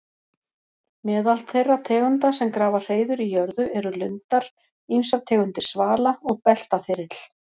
Meðal þeirra tegunda sem grafa hreiður í jörðu eru lundar, ýmsar tegundir svala og beltaþyrill.